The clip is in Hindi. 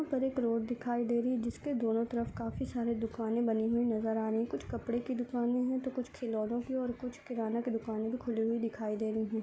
यहाँ पे एक रोड दिखाई दे रही है जिसके दोनों तरफ काफी सारी दुकाने बनी हुई नजर आ रही हैं। कुछ कपड़ों की दुकाने हैं तो कुछ खिलौने की और कुछ किराने का दुकानें खुली हुई दिखाई दे रही हैं।